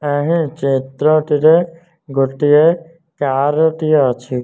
ଏଠାରେ ଚିତ୍ରଟିରେ ଗୋଟିଏ କାରଟିଏ ଅଛି।